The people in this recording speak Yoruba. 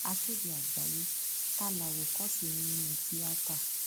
akéde àgbáyé ta làwòkọṣe yín nínú tíátá